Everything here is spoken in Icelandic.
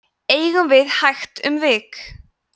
eigum við hægt um vik